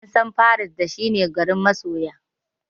An san paris da shi ne garin masoya.